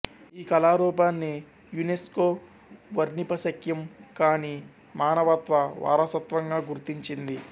ఈ కళారూపాన్ని యునెస్కో వర్ణిపశక్యం కాని మానవత్వ వారసత్వంగా గుర్తించింది